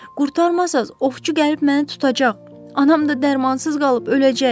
Qurtarmasaz ovçu gəlib məni tutacaq, anam da dərmansız qalıb öləcək.